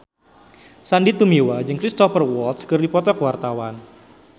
Sandy Tumiwa jeung Cristhoper Waltz keur dipoto ku wartawan